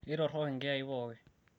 keitorrok inkiyai pooki